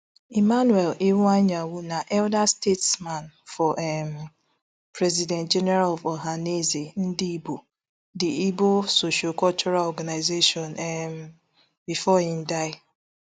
emmanuel iwuanyanwu na elder statesman for um president general of ohanaeze ndigbo di igbo sociocultural organisation um bifor im die